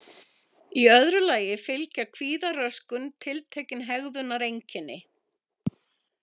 Í öðru lagi fylgja kvíðaröskun tiltekin hegðunareinkenni.